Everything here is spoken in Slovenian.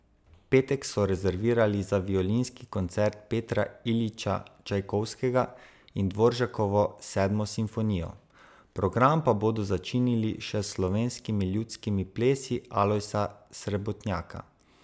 Petek so rezervirali za violinski koncert Petra Iljiča Čajkovskega in Dvoržakovo Sedmo simfonijo, program pa bodo začinili še s slovenskimi ljudskimi plesi Alojza Srebotnjaka.